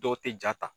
Dɔw tɛ jaa ta